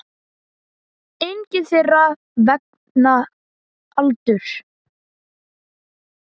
Engin þeirra vegna aldurs.